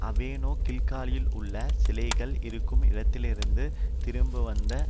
அவனோ கில்காலிலுள்ள சிலைகள் இருக்கும் இடத்திலிருந்து திரும்பிவந்து